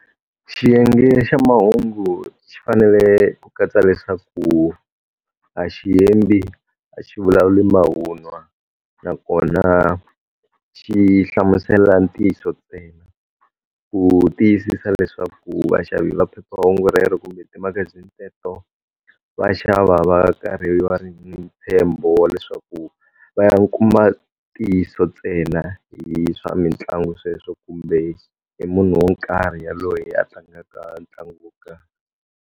Xiyenge xa mahungu xi fanele ku katsa leswaku a xi hembi, a xi vulavuli mavunwa, nakona xi hlamusela ntiyiso ntsena. Ku tiyisisa leswaku vaxavi va phephahungu rero kumbe timagazini teto, va xava va karhi va ri na ntshembo leswaku va ya kuma ntiyiso ntsena hi swa mitlangu sweswo kumbe i munhu wo karhi yaloye a tlangaka ntlangu wo karhi.